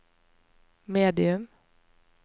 medium